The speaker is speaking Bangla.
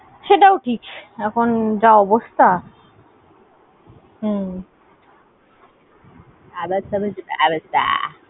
সেটাও ঠিক, এখন যা অবস্থা। হ্যাঁ